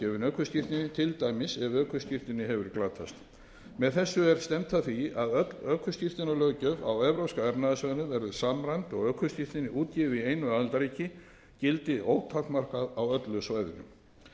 ökuskírteini til dæmis ef ökuskírteini hefur glatast með þessu er stefnt að því að öll ökuskírteinalöggjöf á evrópska efnahagssvæðinu verði samræmd og ökuskírteini útgefið í einu aðildarríki gildi ótakmarkað á öllu svæðinu þá er það